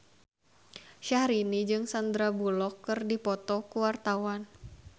Syahrini jeung Sandar Bullock keur dipoto ku wartawan